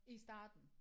I starten